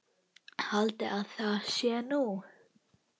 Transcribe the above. Haldiði að það sé nú!